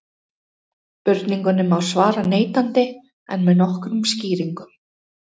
Spurningunni má svara neitandi en með nokkrum skýringum.